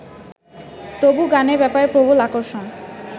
তবু গানের ব্যাপারে প্রবল আকর্ষণ